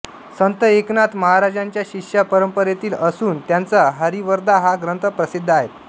संत एकनाथ महाराजांच्या शिष्य परंपरेतील असुन त्यांचा हरिवरदा हा ग्रंथ प्रसिद्ध आहे